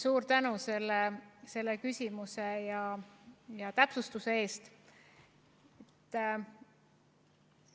Suur tänu selle küsimuse ja täpsustuse eest!